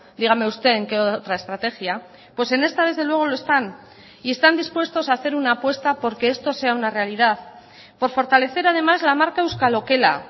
dígame usted en qué otra estrategia pues en esta desde luego lo están y están dispuestos a hacer una apuesta porque esto sea una realidad por fortalecer además la marca euskal okela